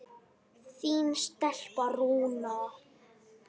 Þín stelpa, Rúna.